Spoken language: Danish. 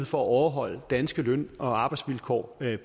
for at overholde danske løn og arbejdsvilkår